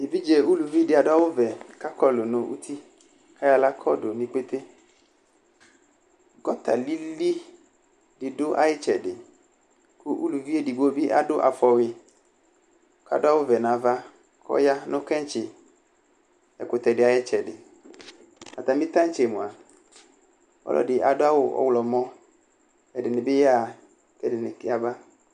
Evidze uluvi dɩ adʋ awʋvɛ kʋ ɔkɔlʋ nʋ uti kʋ ayɔ aɣla kɔdʋ nʋ ikpete Gɔta lɩlɩ dɩ dʋ ayʋ ɩtsɛdɩ kʋ uluvi edigbo bɩ adʋ afɔwʋɩ kʋ adʋ awʋvɛ nʋ ava kʋ ɔya nʋ kɛ̃tsɩ ɛkʋtɛdɩ ayʋ ɩtsɛdɩ Atamɩ tantse mʋa, ɔlɔdɩ adʋ awʋ ɔɣlɔmɔ Ɛdɩnɩ bɩ yaɣa, kʋ ɛdɩnɩ yaba